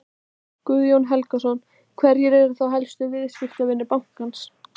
Guðjón Helgason: Hverjir eru þá helstu viðskiptavinir bankans?